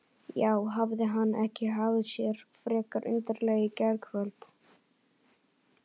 Já, hafði hann ekki hagað sér frekar undarlega í gærkvöld?